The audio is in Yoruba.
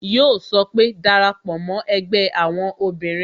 Yo sọ pé "Dara pò mo ẹgbẹ́ àwọn obìnrin"